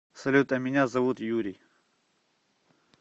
салют а меня зовут юрий